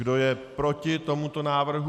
Kdo je proti tomuto návrhu?